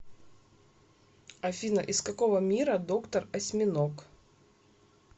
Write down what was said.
афина из какого мира доктор осьминог